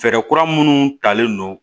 Fɛɛrɛ kura minnu talen don